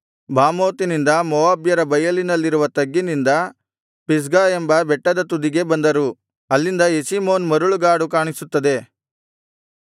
ಬಾಮೋತಿನಿಂದ ಮೋವಾಬ್ಯರ ಬಯಲಿನಲ್ಲಿರುವ ತಗ್ಗಿನಿಂದ ಪಿಸ್ಗಾ ಎಂಬ ಬೆಟ್ಟದ ತುದಿಗೆ ಬಂದರು ಅಲ್ಲಿಂದ ಯೆಷೀಮೋನ್ ಮರಳುಗಾಡು ಕಾಣಿಸುತ್ತದೆ